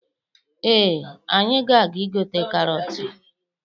Ee, anyị ga-aga igote karọtụ.